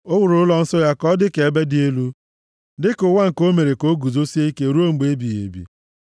O wuru ụlọnsọ ya ka ọ dị ka ebe dị elu, dịka ụwa nke o mere ka o guzosie ike ruo mgbe ebighị ebi.